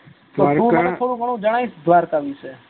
દ્વારકા થોડું ગણું જનાવીસ દ્વારકા વિશે